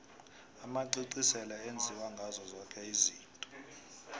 amacici sele enziwa ngazo zoke izinto